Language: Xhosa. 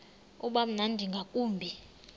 uba mnandi ngakumbi